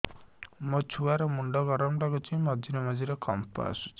ମୋ ଛୁଆ ର ମୁଣ୍ଡ ଗରମ ଲାଗୁଚି ମଝିରେ ମଝିରେ କମ୍ପ ଆସୁଛି